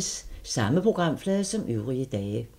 Samme programflade som øvrige dage